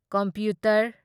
computer